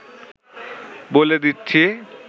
বলে দিচ্ছি